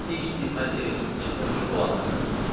Dinməzcə evimizin içində oturub dolanırdıq.